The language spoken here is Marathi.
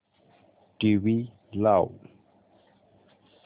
टीव्ही लाव